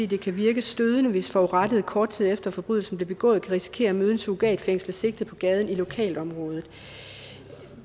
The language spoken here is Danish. det kan virke stødende hvis forurettede kort tid efter forbrydelsen er blevet begået kan risikere at møde en surrogatfængslet sigtet på gaden i lokalområdet